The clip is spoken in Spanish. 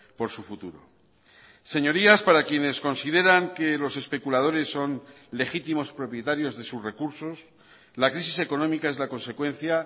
por su futuro señorías para quienes consideran que los especuladores son legítimos propietarios de sus recursos la crisis económica es la consecuencia